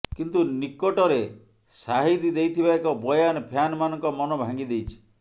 କିନ୍ତୁ ନିକଟରେ ଶାହିଦ ଦେଇଥିବା ଏକ ବୟାନ ଫ୍ୟାନମାନଙ୍କ ମନ ଭାଙ୍ଗି ଦେଇଛି